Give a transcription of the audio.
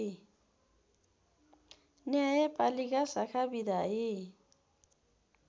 न्यायपालिका शाखा विधायी